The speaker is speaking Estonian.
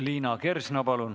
Liina Kersna, palun!